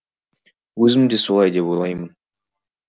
өзім де солай деп ойлаймын